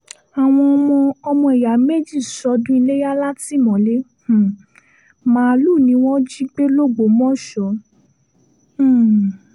àwọn ọmọ ọmọ ìyá méjì sọ́dún iléyà látìmọ́lé um màálùú ni wọ́n jí gbé lògbòmọ̀ṣọ́ um